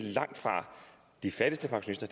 de fattigste pensionister